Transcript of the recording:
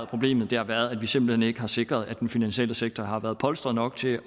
problemet har været at vi simpelt hen ikke har sikret at den finansielle sektor har været polstret nok til